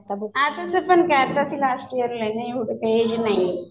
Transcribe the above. असं पण काय आता तर लास्ट ईयर आहे ना एवढं पण काय एज नाहीये.